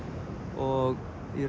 og